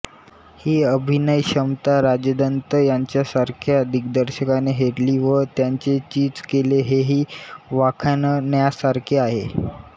ही अभिनयक्षमता राजदत्त यांच्यासारख्या दिग्दर्शकाने हेरली व त्यांचे चीज केले हेही वाखाणण्यासारखे आहे